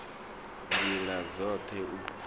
nd ila dzot he u